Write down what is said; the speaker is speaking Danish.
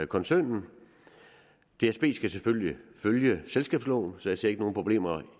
koncernen dsb skal selvfølgelig følge selskabsloven så jeg ser ikke nogen problemer